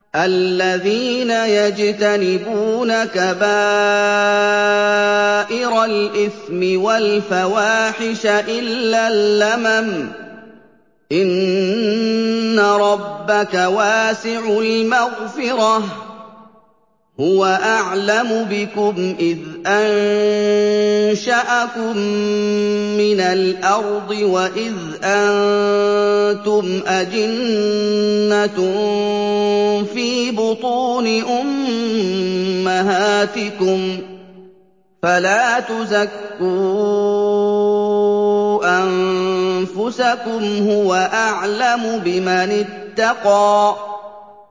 الَّذِينَ يَجْتَنِبُونَ كَبَائِرَ الْإِثْمِ وَالْفَوَاحِشَ إِلَّا اللَّمَمَ ۚ إِنَّ رَبَّكَ وَاسِعُ الْمَغْفِرَةِ ۚ هُوَ أَعْلَمُ بِكُمْ إِذْ أَنشَأَكُم مِّنَ الْأَرْضِ وَإِذْ أَنتُمْ أَجِنَّةٌ فِي بُطُونِ أُمَّهَاتِكُمْ ۖ فَلَا تُزَكُّوا أَنفُسَكُمْ ۖ هُوَ أَعْلَمُ بِمَنِ اتَّقَىٰ